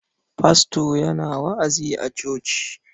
Fasto yana wa'azi a coci.